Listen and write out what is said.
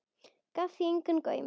Gaf því engan gaum.